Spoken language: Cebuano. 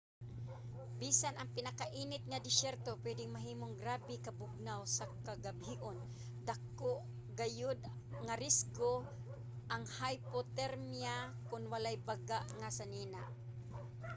bisan ang pinakainit nga desyerto pwede mahimong grabe ka bugnaw sa kagabion. dako gayod nga risgo ang hypothermia kon walay baga nga sinina